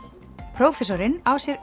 prófessorinn á sér